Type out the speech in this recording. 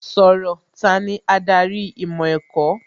Sọ̀rọ̀! Tani adarí ìmọ̀ ẹ̀kọ́?